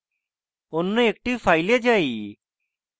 অন্য একটি file যাই